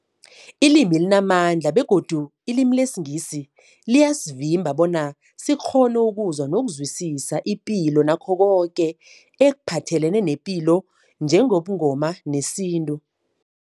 Ilimi limamandla begodu ilimi lesiNgisi liyasivimba bona sikghone ukuzwa nokuzwisisa ipilo nakho koke ekuphathelene nepilo njengobuNgoma nesintu.